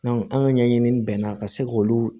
an ka ɲɛɲini bɛnna ka se k'olu